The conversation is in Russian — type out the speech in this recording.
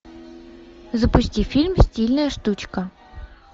запусти фильм стильная штучка